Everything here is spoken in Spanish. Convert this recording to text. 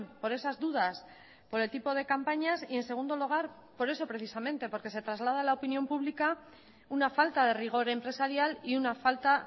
por esas dudas por el tipo de campañas y en segundo lugar por eso precisamente porque se traslada a la opinión pública una falta de rigor empresarial y una falta